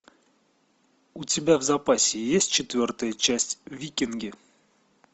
у тебя в запасе есть четвертая часть викинги